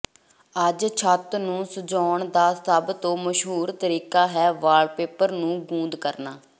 ਅੱਜ ਛੱਤ ਨੂੰ ਸਜਾਉਂਣ ਦਾ ਸਭ ਤੋਂ ਮਸ਼ਹੂਰ ਤਰੀਕਾ ਹੈ ਵਾਲਪੇਪਰ ਨੂੰ ਗੂੰਦ ਕਰਨਾ